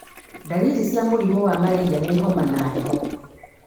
Ndariri cia mũrimũ wa malaria nĩ homa na heho.